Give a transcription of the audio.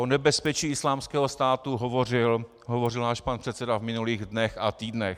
O nebezpečí Islámského státu hovořil náš pan předseda v minulých dnech a týdnech.